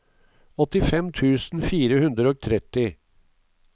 åttifem tusen fire hundre og tretti